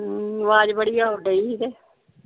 ਹਮ ਵਾਜ ਬੜੀ ਆਉਣ ਡਈ ਏ ।